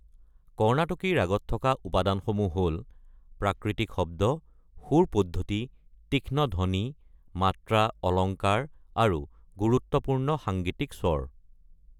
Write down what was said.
কৰ্ণাটকী ৰাগত থকা উপাদানসমূহ হ’ল - প্ৰাকৃতিক শব্দ, সুৰ পদ্ধতি, তীক্ষ্ণ ধ্বনি, মাত্ৰা, অলংকাৰ, আৰু গুৰুত্বপূৰ্ণ সাংগীতিক স্বৰ।